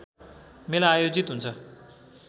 मेला आयोजित हुन्छ